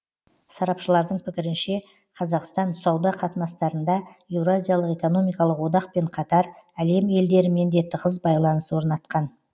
сарапшылардың пікірінше қазақстан сауда қатынастарында еуразиялық экономикалық одақпен қатар әлем елдерімен де тығыз байланыс орнатқан